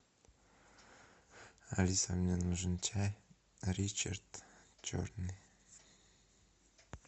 алиса мне нужен чай ричард черный